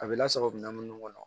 A bɛ lasago kunda minnu kɔnɔ